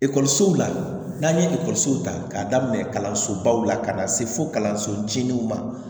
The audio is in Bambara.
Ekɔlisow la n'an ye ekɔliso ta k'a daminɛ kalansobaw la ka na se fo kalanso jigininw ma